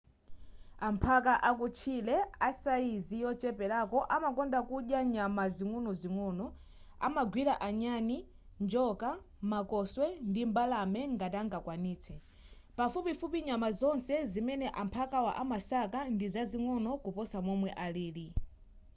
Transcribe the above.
amphaka akutchire asayizi yocheperako amakonda kudya nyama zing'onozing'ono amagwira anyani njoka makoswe ndi mbalame ngati angakwanitse pafupifupi nyama zonse zimene amphakawa amasaka ndizazing'ono kuposa momwe alili